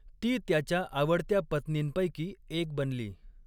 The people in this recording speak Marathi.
ती त्याच्या आवडत्या पत्नींपैकी एक बनली.